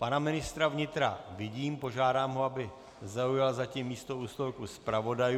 Pana ministra vnitra vidím, požádám ho, aby zaujal zatím místo u stolku zpravodajů.